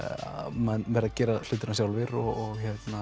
menn verða að gera hlutina sjálfir og